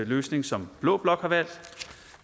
løsning som blå blok har valgt